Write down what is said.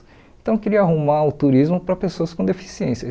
Então eu queria arrumar o turismo para pessoas com deficiência.